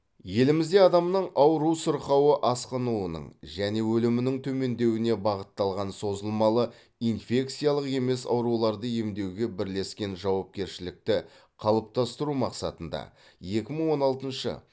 елімізде адамның ауру сырқауы асқынуының және өлімінің төмендеуіне бағытталған созылмалы инфекциялық емес ауруларды емдеуге бірлескен жауапкершілікті қалыптастыру мақсатында екі мың он алтыншы